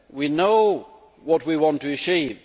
We know what we want to achieve